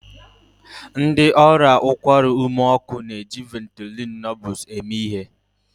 Ndị ọrịa ụkwara ume ọkụ na-eji Ventolin Nebules eme ihe